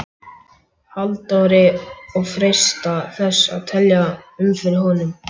Halldóri og freista þess að telja um fyrir honum.